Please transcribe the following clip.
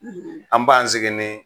An b'an sigi ni